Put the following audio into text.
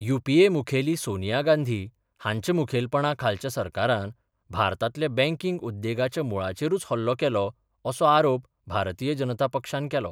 UPA मुखेली सोनिया गांधी हांच्या मुखेलपणा खालच्या सरकारान भारतातल्या बँकींग उद्देगाच्या मुळाचेरूच हल्लो केलो असो आरोप भारतीय जनता पक्षान केला.